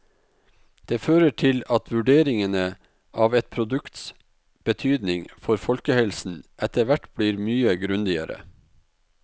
Det fører til at vurderingene av et produkts betydning for folkehelsen etterhvert blir mye grundigere.